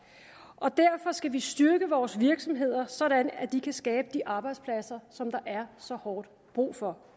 derfor skal vi styrke vores virksomheder så de kan skabe de arbejdspladser som der er så hårdt brug for